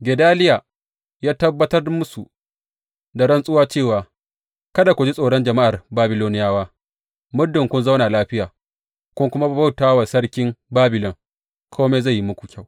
Gedaliya ya tabbatar musu da rantsuwa cewa, Kada ku ji tsoron jama’ar Babiloniyawa, muddin kun zauna lafiya, kun kuma bauta wa sarkin Babilon, kome zai yi muku kyau.